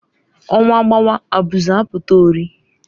Ọnwa gbawa abuzu apụta urị